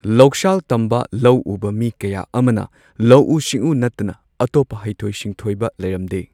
ꯂꯧꯁꯥꯜ ꯇꯝꯕ ꯂꯧꯎꯕ ꯃꯤ ꯀꯌꯥ ꯑꯃꯅ ꯂꯧꯎ ꯁꯤꯡꯎ ꯅꯠꯇꯅ ꯑꯇꯣꯞꯄ ꯍꯩꯊꯣꯏ ꯁꯤꯡꯊꯣꯏꯕ ꯂꯩꯔꯝꯗꯦ꯫